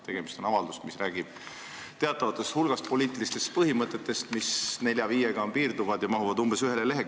Tegemist on avaldusega, mis räägib teatavast hulgast poliitilistest põhimõtetest, piirdudes nelja-viie põhimõttega, mis mahuvad umbes ühele leheküljele.